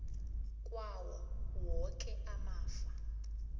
kwawo woke amafa